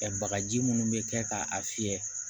Ɛ bagaji munnu bɛ kɛ k'a fiyɛ